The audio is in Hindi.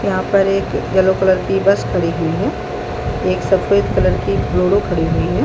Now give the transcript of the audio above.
यहाँ पर एक येलो कलर की बस खड़ी हुई है एक सफ़ेद कलर की बुलेरो खड़ी हुई हैं।